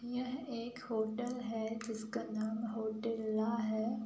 यह एक होटल है। जिसका नाम होटेल ला है।